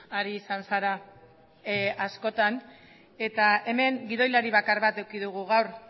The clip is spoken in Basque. ari izan zara askotan eta hemen gidoilari bakar bat eduki dugu gaur